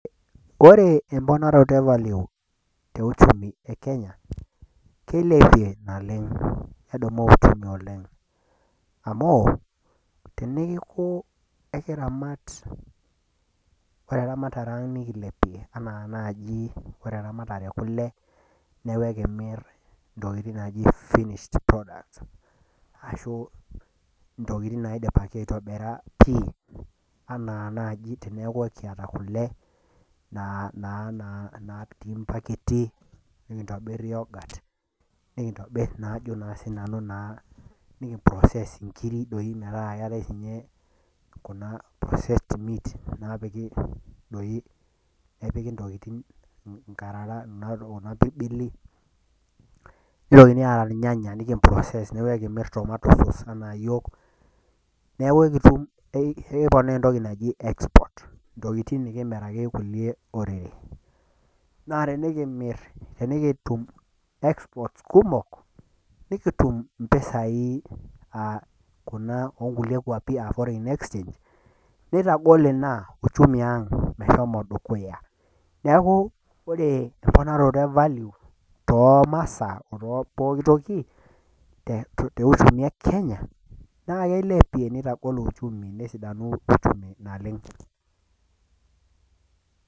Ore emponaroto evalue euchumi ekenya naa kilepie naleng amu ,neeku naji ore eramatare ang nikilepie teneeku ore eramatare ekule neeku ekimir ntokiting naaji finished products ashu ntokiting naidipaki aitobira pi enaa naaji teneeku ekiata kule naapiki mpaketi nikintobiru yogut nikimproses nkiri metaa metaa keetae siininche Kuna processed meat naapiki Kuna pirbili ,nitokini aata irnyanya nikimproses neeku ekimir entoki naji tomato souse neku ekiata ntokiting naaji export ntokiting nikimiraki kulie orere. naa tinikitume export kumok nikitum mpisai Kuna oonkulie kwapi aa foreighn exchange neitagol ina uchumi ang meshomo dukuya .neeku ore emponaroto evalue toomasaa otepooki toki teunchumi ekenya naa kilepie negolu uchumi naleng.